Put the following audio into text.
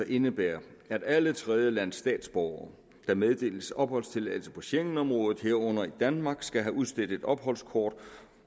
indebærer at alle tredjelandsstatsborgere der meddeles opholdstilladelse i schengenområdet herunder i danmark skal have udstedt et opholdskort